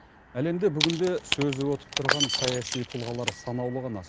әлемде бүгінде сөзі өтіп тұрған саяси тұлғалар санаулы ғана